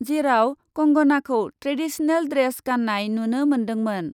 जेराव कंगनाखौ traditional dress गान्नाय नुनो मोन्दोंमोन ।